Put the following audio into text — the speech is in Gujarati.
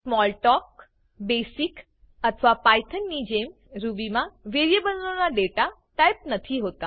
સ્મોલટાલ્ક બેસિક અથવા પાયથોન ની જેમ રૂબી માં વેરીએબલો ના દેતા ટાઈપ બથી હોતા